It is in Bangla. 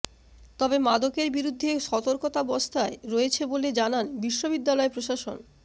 তবে মাদকের বিরুদ্ধে সতর্কাবস্থায় রয়েছে বলে জানান বিশ্ববিদ্যালয় প্রশাসন